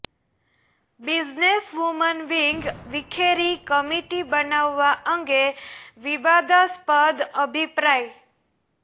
business woman wing વિખેરી committee બનાવવા અંગે વિવાદાસ્પદ અભિપ્રાય